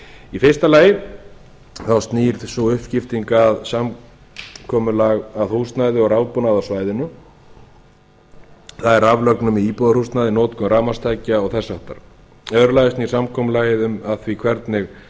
í fyrsta lagi snýr sú uppskipting af húsnæði og rafbúnaði á svæðinu það er raflögnum í íbúðarhúsnæði notkun rafmagnstækja og þess háttar í öðru lagi snýr samkomulagið að því hvernig